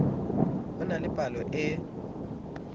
ho na le pallo e